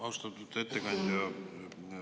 Austatud ettekandja!